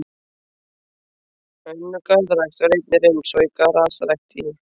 Önnur garðrækt var einnig reynd, svo og grasrækt í